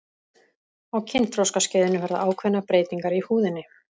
á kynþroskaskeiðinu verða ákveðnar breytingar í húðinni